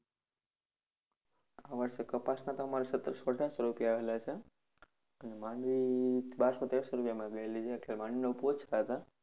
આ વર્ષે કપાસના તો અમારે રૂપિયા આવેલા છે. અને મંડાવી બારસો તેરસો રૂપિયામાં ગયેલી છે એટલે મંડાવીનો